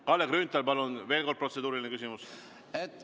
Kalle Grünthal, palun, veel üks protseduuriline küsimus!